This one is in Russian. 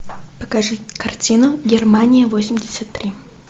покажи картину германия восемьдесят три